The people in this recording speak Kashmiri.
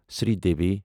سری دیوی